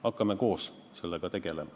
Hakkame koos sellega tegelema.